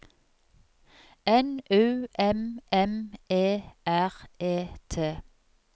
N U M M E R E T